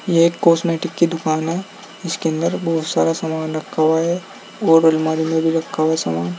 ये एक कॉस्मेटिक की दुकान है जिसके अंदर बहुत सारा सामान रखा हुआ है और अलमारी में भी रखा हुआ सामान --